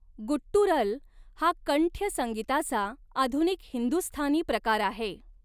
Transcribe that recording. Guttural हा कंठ्य संगीताचा आधुनिक हिंदुस्थानी प्रकार आहे.